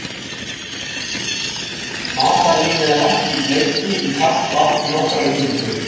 Matarlímið er lagt í bleyti í kalt vatn í nokkrar mínútur.